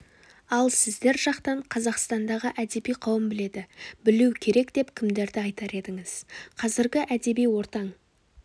ал сіздер жақтан қазақстандағы әдеби қауым біледі білуі керек деп кімдерді айтар едіңіз қазіргі әдеби ортаң